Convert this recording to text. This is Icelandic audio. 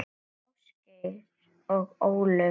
Ásgeir og Ólöf.